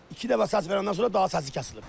İki dəfə səs verəndən sonra daha səsi kəsilib.